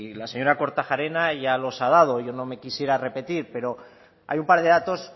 la señora kortajarena ya los ha dado yo no me quisiera repetir pero hay un par de datos